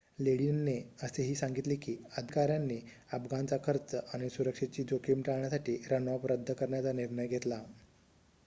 लेडिनने असेही सांगितले की अधिकाऱ्यांनी अफगाणचा खर्च आणि सुरक्षेची जोखीम टाळण्यासाठी रनऑफ रद्द करण्याचा निर्णय घेतला